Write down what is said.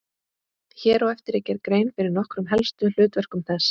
Hér á eftir er gerð grein fyrir nokkrum helstu hlutverkum þess.